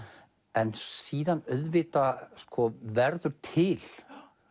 en síðan auðvitað verður til